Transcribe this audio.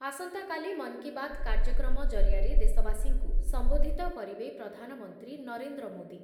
ଆସନ୍ତାକାଲି ମନ୍ କି ବାତ୍ କାର୍ଯ୍ୟକ୍ରମ ଜରିଆରେ ଦେଶବାସୀଙ୍କୁ ସମ୍ବୋଧିତ କରିବେ ପ୍ରଧାନମନ୍ତ୍ରୀ ନରେନ୍ଦ୍ର ମୋଦି